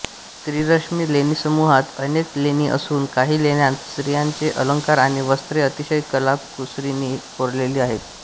त्रिरश्मी लेणीसमूहात अनेक लेणी असून काही लेण्यांत स्त्रियांचे अलंकार आणि वस्त्रे अतिशय कलाकुसरीनी कोरलेली आहेत